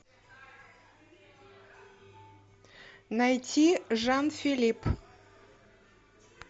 найти жан филипп